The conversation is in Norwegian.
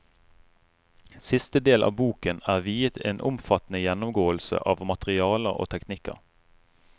Siste del av boken er viet en omfattende gjennomgåelse av materialer og teknikker.